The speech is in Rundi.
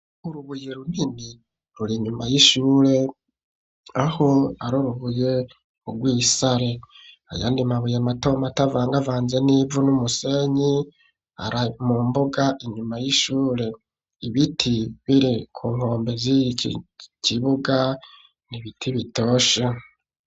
Urubuye runini ruri inyuma y'ishure, aho ari urubuye rw'isare. Ayandi mabuye matomato avangavanze n'ivu n'umusenyi, ari mu mbuga inyuma y'ishure. Ibiti biri ku nkombe z'iki kibuga ni ibiti bitoshe.